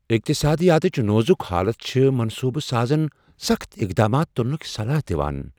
اقتصادِیاتٕچ نوزٗک حالت چھِ منصوبہٕ سازن سخت اقدامات تلنک صلاح دوان۔